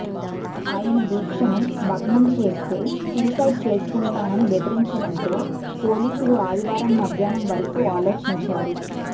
ఆయన దీక్షను భగ్నం చేస్తే సూసైడ్ చేసుకుంటానని బెదిరించడంతో పోలీసులు ఆదివారం మధ్యాహ్నం వరకు ఆలోచించారు